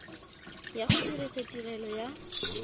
ya go dirisa tirelo ya